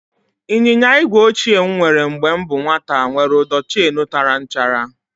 Ịnyịnya igwe ochie m nwere mgbe m bụ nwata nwèrè ụdọ cheenu tara nchara